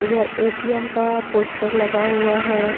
इधर एटीएम का पोस्टर लगा हुआ है।